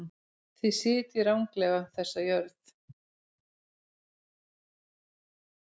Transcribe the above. Þið sitjið ranglega þessa jörð.